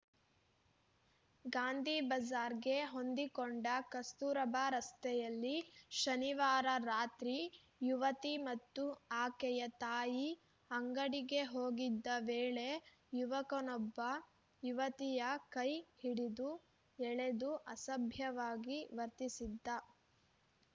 ಗಾಂಧಿ ಬಜಾರ್‌ಗೆ ಹೊಂದಿಕೊಂಡ ಕಸ್ತೂರಬಾ ರಸ್ತೆಯಲ್ಲಿ ಶನಿವಾರ ರಾತ್ರಿ ಯುವತಿ ಮತ್ತು ಆಕೆಯ ತಾಯಿ ಅಂಗಡಿಗೆ ಹೋಗಿದ್ದ ವೇಳೆ ಯುವಕನೊಬ್ಬ ಯುವತಿಯ ಕೈ ಹಿಡಿದು ಎಳೆದು ಅಸಭ್ಯವಾಗಿ ವರ್ತಿಸಿದ್ದ